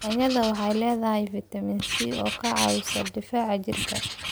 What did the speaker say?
Yaanyada waxay leedahay fiitamiin C oo ka caawisa difaaca jirka.